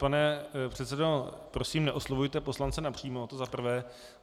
Pane předsedo, prosím, neoslovujte poslance napřímo, to za prvé.